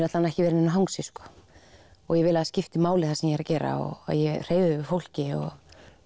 alla vega ekki vera í neinu hangsi og vil að það skipti máli sem ég er að gera og að ég hreyfi við fólki